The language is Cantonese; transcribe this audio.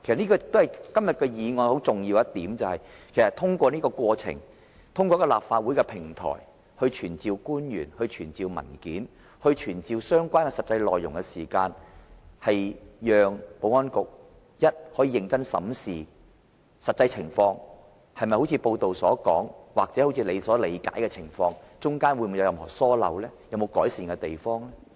今天的議案很重要的一點，其實是通過這個過程，通過立法會的平台傳召官員，要求出示文件，披露相關的實際內容時，首先讓保安局，可以認真審視實際情況，究竟情況是如報道所說還是一如其所理解那樣，當中有否任何疏漏和須改善的地方？